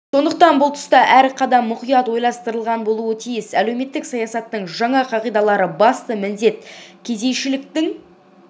сондықтан бұл тұста әр қадам мұқият ойластырылған болуы тиіс әлеуметтік саясаттың жаңа қағидалары басты міндет кедейшіліктің